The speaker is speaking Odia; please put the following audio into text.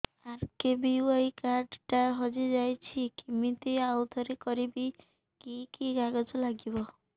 ଆର୍.କେ.ବି.ୱାଇ କାର୍ଡ ଟା ହଜିଯାଇଛି କିମିତି ଆଉଥରେ କରିବି କି କି କାଗଜ ଲାଗିବ